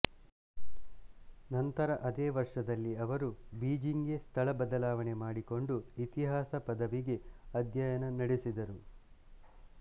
ನಂತರ ಅದೇ ವರ್ಷದಲ್ಲಿ ಅವರು ಬೀಜಿಂಗ್ ಗೆ ಸ್ಥಳ ಬದಲಾವಣೆ ಮಾಡಿಕೊಂಡು ಇತಿಹಾಸ ಪದವಿಗೆ ಅಧ್ಯಯನ ನಡೆಸಿದರು